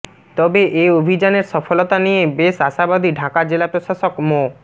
তবে এ অভিযানের সফলতা নিয়ে বেশ আশাবাদী ঢাকা জেলা প্রশাসক মো